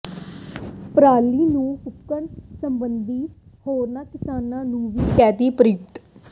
ਪਰਾਲੀ ਨਾ ਫੂਕਣ ਸਬੰਧੀ ਹੋਰਨਾਂ ਕਿਸਾਨਾਂ ਨੂੰ ਵੀ ਕਰਦੈ ਪ੍ਰੇਰਿਤ